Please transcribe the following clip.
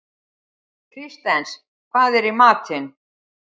Kristens, hvað er í matinn?